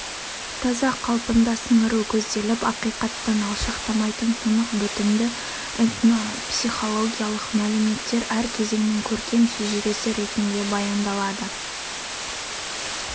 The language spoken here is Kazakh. таза қалпында сіңіру көзделіп ақиқаттан алшақтамайтын тұнық бітімді этнопсихологиялық мәліметтер әр кезеңнің көркем шежіресі ретінде баяндалады